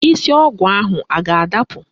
Isi ọgụ ahụ a ga-adapụ?